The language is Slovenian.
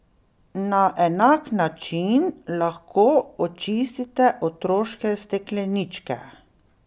Na enak način lahko očistite otroške stekleničke.